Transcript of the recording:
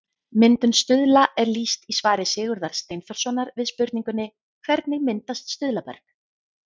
Myndun stuðla er lýst í svari Sigurðar Steinþórssonar við spurningunni Hvernig myndast stuðlaberg?